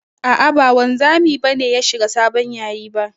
A'a ba wanzami ba ne ya shiga sabon yayi ba.